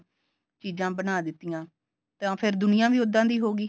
ਚੀਜਾਂ ਬਣਾ ਦਿੱਤੀਆਂ ਤਾਂ ਫੇਰ ਦੁਨੀਆ ਵੀ ਉੱਦਾਂ ਦੀ ਹੋ ਗਈ